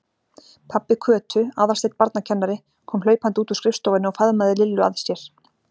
Pabbi Kötu, Aðalsteinn barnakennari, kom hlaupandi út úr skrifstofunni og faðmaði Lillu að sér.